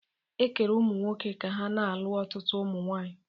Ekere ụmụnwoke ka ha na-alụ ọtụtụ ụmụ nwaanyị.